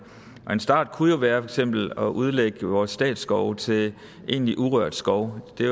og en start kunne jo være for eksempel at udlægge vores statsskove til egentlig urørt skov det